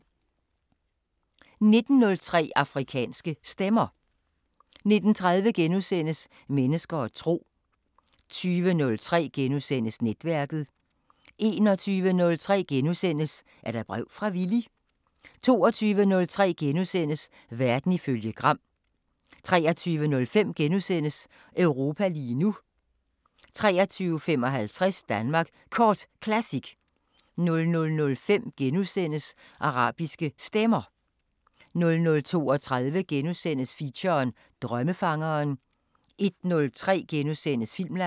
19:03: Afrikanske Stemmer 19:30: Mennesker og tro * 20:03: Netværket * 21:03: Er der brev fra Villy? * 22:03: Verden ifølge Gram * 23:05: Europa lige nu * 23:55: Danmark Kort Classic 00:05: Arabiske Stemmer * 00:32: Feature: Drømmefangeren * 01:03: Filmland *